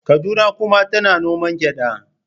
Kaduna kuma tana noma gyada.